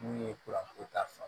N'u ye kuranko ta fa